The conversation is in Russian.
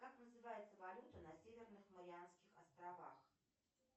как называется валюта на северных марианских островах